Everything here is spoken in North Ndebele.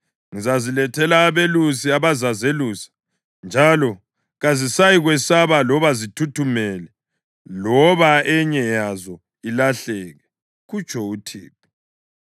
Ngizazilethela abelusi abazazelusa, njalo kazisayikwesaba loba zithuthumele, loba enye yazo ilahleke,” kutsho uThixo.